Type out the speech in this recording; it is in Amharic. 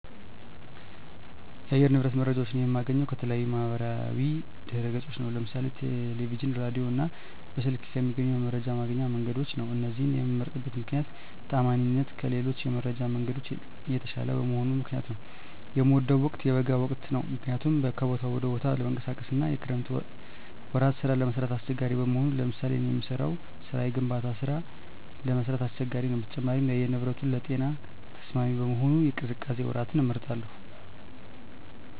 የአየር ንብረት መረጃዎች የማገኘው ከተለያዩ የማህበራዊ ድህረገጾች ነው ለምሳሌ ቴለቪዥን ራዲዮ እና በስልክ ከሚገኙ የመረጃ ማግኛ መንገዶች ነው እነዚህን የመምመርጥበት ምክነያት ተአማኒነታቸው ከሌሎች የመረጃ መንገዶች የተሻለ በመሆኑ ምክንያት ነው። የምወደው ወቅት የበጋውን ወቅት ነው ምክንያቱም ከቦታ ወደ ቦታ ለመንቀሳቀስ አና የክረምት ወራት ስራ ለመስራት አሳቸጋሪ በመሆኑ ለምሳሌ እኔ የምሰራው ስራ የግንባታ ስራ ለመስራት አስቸጋሪ ነው በተጨማሪም የአየር ንብረቱንም ለጤና ተስማሚ በመሆኑ የቅዝቃዜ ወራትን እመርጣለሁ